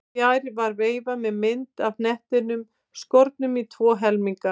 Fjær var veifa með mynd af hnettinum skornum í tvo helminga.